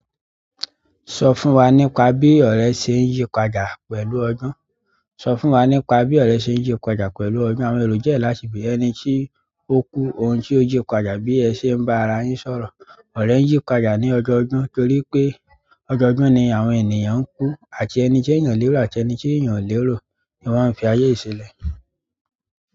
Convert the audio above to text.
Sọ fún wa nípa bí ọ̀rẹ́ ṣe ń yípadà pẹ̀lú ọdún. Sọ fún wa nípa bí ọ̀rẹ́ ṣe ń yípadà pẹ̀lú ọdún. Àwọn èrò jẹ́ láti gbe ẹni tí ó kú, ọ̀un tí ó yípadà bí ẹ ṣe ń bá ara yín sọ̀rọ̀. Ọ̀rẹ́ ń yípadà ní ọjọ́ ọdún torí pé ọjọ́ ọdún ni àwọn ènìyàn ń kú àti ẹni tí ènìyàn lérò àti ẹni tí ènìyàn ò lérò ni wọ́n fi ayé yìí ṣi lẹ̀.